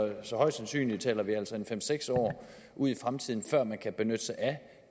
så højst sandsynligt taler vi altså fem seks år ude i fremtiden før man kan benytte sig af